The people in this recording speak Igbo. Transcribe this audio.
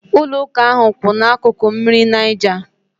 Ụlọ ụka ahụ kwu ná akụkụ mmiri Niger